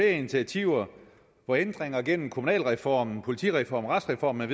initiativer hvor ændringer gennem kommunalreformen politireformen retsreformen